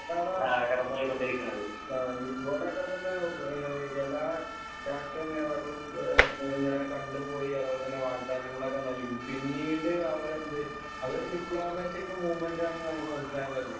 ആഹ് ഇവടൊക്കെത്തന്നെ ഏഹ് എല്ലാ രാഷ്ട്രീയ നേതാക്കളും എഹ് ഏഹ് ഏഹ് ഇങ്ങനെ കണ്ട് പോയ് അതുപോലെ തന്നെ വാഗ്ദാനങ്ങളൊക്കെ നൽകും. പിന്നീട് അവരെന്തെ അവര് ഡിപ്ലോമാറ്റിക് മൂവ്മെന്റാണെന്നമുക്ക് മനസ്സിലാക്കാറില്ല.